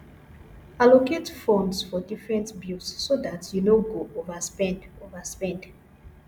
allocate funds for different bills so dat you no go overspend overspend